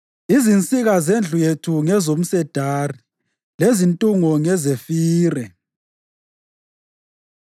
Izinsika zendlu yethu ngezomsedari lezintungo ngezefire.